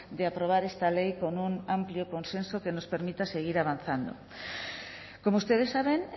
de aprobar esta ley con un amplio consenso que nos permita seguir avanzando como ustedes saben